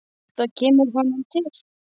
Og svona stór!